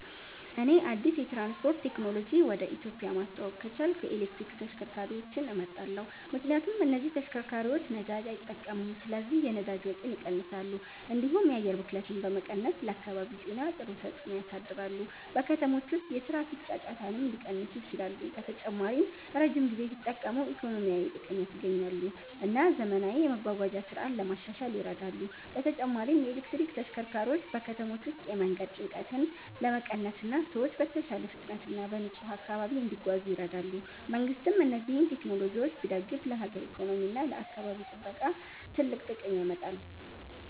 እኔ አዲስ የትራንስፖርት ቴክኖሎጂ ወደ ኢትዮጵያ ማስተዋወቅ ከቻልኩ የኤሌክትሪክ ተሽከርካሪዎችን እመርጣለሁ። ምክንያቱም እነዚህ ተሽከርካሪዎች ነዳጅ አይጠቀሙም ስለዚህ የነዳጅ ወጪን ይቀንሳሉ፣ እንዲሁም የአየር ብክለትን በመቀነስ ለአካባቢ ጤና ጥሩ ተጽዕኖ ያሳድራሉ። በከተሞች ውስጥ የትራፊክ ጫጫታንም ሊቀንሱ ይችላሉ። በተጨማሪም ረጅም ጊዜ ሲጠቀሙ ኢኮኖሚያዊ ጥቅም ያስገኛሉ እና ዘመናዊ የመጓጓዣ ስርዓት ለማሻሻል ይረዳሉ። በተጨማሪም የኤሌክትሪክ ተሽከርካሪዎች በከተሞች ውስጥ የመንገድ ጭንቀትን ለመቀነስ እና ሰዎች በተሻለ ፍጥነት እና በንጹህ አካባቢ እንዲጓዙ ይረዳሉ። መንግሥትም እነዚህን ቴክኖሎጂዎች ቢደግፍ ለሀገር ኢኮኖሚ እና ለአካባቢ ጥበቃ ትልቅ ጥቅም ያመጣል።